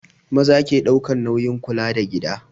Maza ke ɗaukan nauyin kula da gida